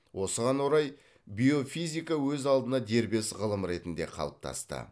осыған орай биофизика өз алдына дербес ғылым ретінде қалыптасты